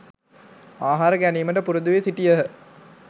ආහාර ගැනීමට පුරුදු වී සිටියහ.